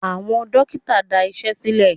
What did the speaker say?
Àwọn dókítà dá Iṣẹ́ sílè.